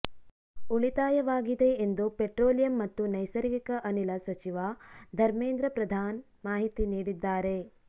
ಉಳಿತಾಯವಾಗಿದೆ ಎಂದು ಪೆಟ್ರೋಲಿಯಂ ಮತ್ತು ನೈಸರ್ಗಿಕ ಅನಿಲ ಸಚಿವ ಧಮೇಂದ್ರ ಪ್ರಧಾನ್ ಮಾಹಿತಿ ನೀಡಿದ್ದಾರೆ